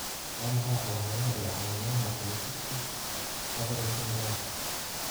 Waa maxay calaamadaha iyo calaamadaha Polycystic ovary syndrome-ka?